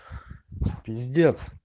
пиздец